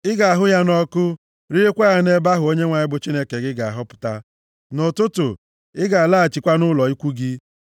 Ị ga-ahụ ya nʼọkụ riekwa ya nʼebe ahụ Onyenwe anyị bụ Chineke ga-ahọpụta. Nʼụtụtụ, ị ga-alaghachikwa nʼụlọ ikwu gị.